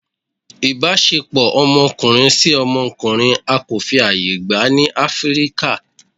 ìbáṣepọ ọmọkunrin si ọmọkunrin á ko fí ayẹ gba ni Afirika